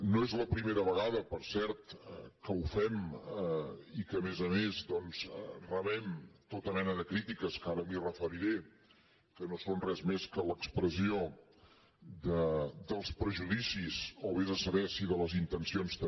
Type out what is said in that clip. no és la primera vegada per cert que ho fem i que a més a més doncs rebem tota mena de crítiques que ara m’hi referiré que no són res més que l’expressió dels prejudicis o vés a saber si de les intencions també